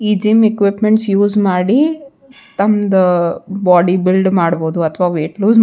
ಈ gym equipments use ಮಾಡಿ ತಮ್ಮ್ದ್ ಬಾಡಿ ಬಿಲ್ಡ್ ಮಾಡ್ಬಹುದು ಅಥವಾ ವೆಟ್ ಲೂಸ್ ಮಾಡ್--‌